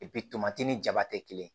tomati ni jaba tɛ kelen